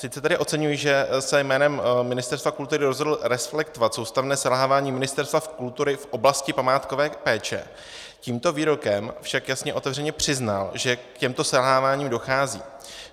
Sice tady oceňuji, že se jménem Ministerstva kultury rozhodl reflektovat soustavné selhávání Ministerstva kultury v oblasti památkové péče, tímto výrokem však jasně otevřeně přiznal, že k těmto selháváním dochází.